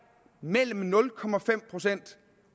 mellem nul